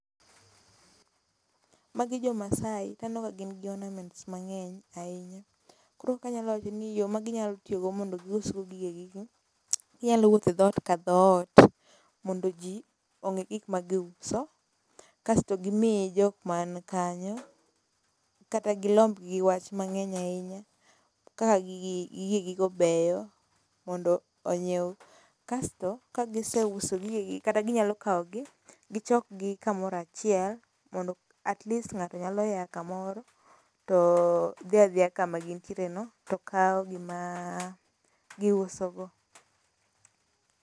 Magi jo masaai, taneno kagin gi ornaments mang'eny ahinya. koro kanyalo wacho nii yoo maginyalo tiyogo mondo giusgo gigegigoo ,ginyalo wuotho edhoot kadhoot, mondo jii ong'ee gikma giuso , kasto gimii jokmaa nkanyo kata gi lombgi gi wach mang'eny ahinya, kaka gigii gigegigoo beyo mondo onyieo kasto kagiseuso gigegii kata ginyalo kaogi ,gichokgi kamoro achiel mondo atleast ng'ato nyalo yaa kamoro, too dhia dhia kuma gintierono too kao gimaa giusogo.